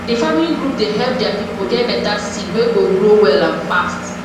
the farming group dey help their people get better seed wey go grow well and fast